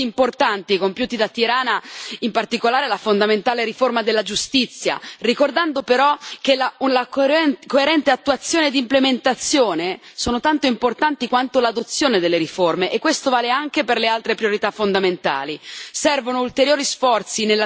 Il Parlamento giustamente riconosce i passi importanti compiuti da Tirana, in particolare la fondamentale riforma della giustizia, ricordando però che la coerente attuazione ed implementazione sono tanto importanti quanto l'adozione delle riforme e questo vale anche per le altre priorità fondamentali.